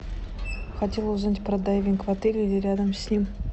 хотела узнать про дайвинг в отеле или рядом с ним